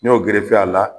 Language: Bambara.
N y'o gerefe a la